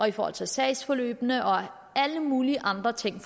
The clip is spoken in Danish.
i forhold til sagsforløb og alle mulige andre ting